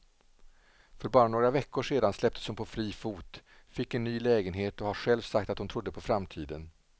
För bara några veckor sedan släpptes hon på fri fot, fick en ny lägenhet och har själv sagt att hon trodde på framtiden.